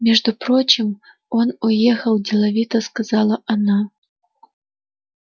между прочим он уехал деловито сказала она